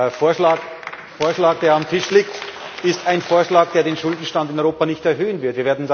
Der Vorschlag, der auf dem Tisch liegt, ist ein Vorschlag, der den Schuldenstand in Europa nicht erhöhen wird.